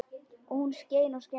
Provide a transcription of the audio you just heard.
Og hún skein og skein.